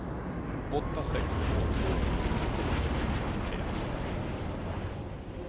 åtta sex två två sjuttionio sexhundranittioett